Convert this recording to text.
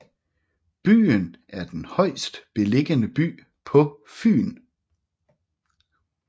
Byen er den højst beliggende by på Fyn